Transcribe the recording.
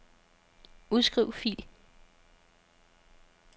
Udskriv fil.